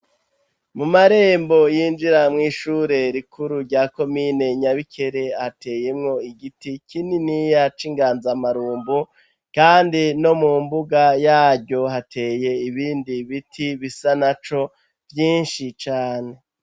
Mu marembo yinjira mw'ishure rikuru rya komine Nyabikere, hateyemwo igiti kininiya c'inganzamarumbu kandi no mu mbuga yaryo hateye ibindi biti bisa naco vyinshi cane.